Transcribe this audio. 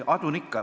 Adun ikka.